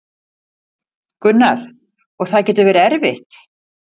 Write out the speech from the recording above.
Gunnar: Og það getur verið erfitt?